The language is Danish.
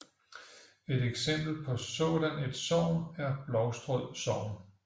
Et eksempel på sådan et sogn er Blovstrød sogn